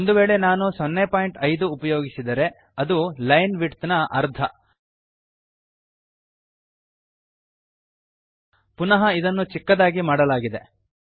ಒಂದು ವೇಳೆ ನಾನು 05 ಉಪಯೋಗಿಸಿದರೆ ಅದು ಲೈನ್ ವಿಡ್ತ್ ನ ಅರ್ಧ ಪುನಃ ಇದನ್ನು ಚಿಕ್ಕದಾಗಿ ಮಾಡಲಾಗಿದೆ